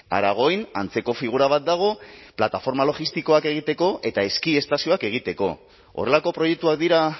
aragoin antzeko figura bat dago plataforma logistikoak egiteko eta eski estazioak egiteko horrelako proiektuak dira